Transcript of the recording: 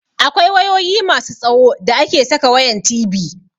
Akwai wayoyi masu tsawo da ake saka wayan TV.